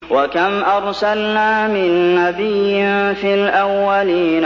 وَكَمْ أَرْسَلْنَا مِن نَّبِيٍّ فِي الْأَوَّلِينَ